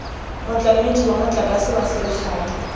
motlamedi wa motlakase wa selegae